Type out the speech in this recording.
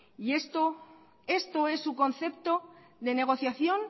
esto es su concepto de negociación